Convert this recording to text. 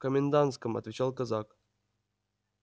в комендантском отвечал казак